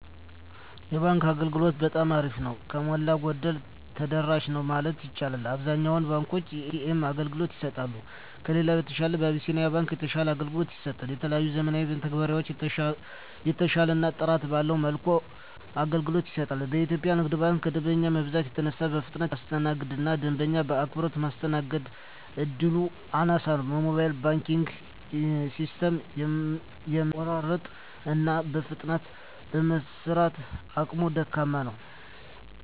የባንክ አገልግሎት በጠማ አሪፍ ነው። ከሞላ ጎደል ተደራሽ ነው ማለት ይቻላል። አብዛኛውን ባንኮች የኤ.ተ.ኤም አገልግሎት ይሰጣሉ። ከሌላው በተሻለ አብሲኒያ ባንክ የተሻለ አገልግሎት ይሰጣል። የተለያዩ ዘመናዊ መተግበሪያዎችን በተሻለና ጥራት ባለው መልኩ አገልግሎት ይሰጣል። ኢትዮጵያ ንግድ ባንክ ከደንበኛ መብዛት የተነሳ በፍጥነት የማስተናገድ እና ደንበኛ በአክብሮት ማስተናገድ እድሉ አናሳ ነው። የሞባይል ባንኪንግ ሲስተሙም የመቆራረጥ እና በፍጥነት የመስራት አቅሙ ደካማ ነው።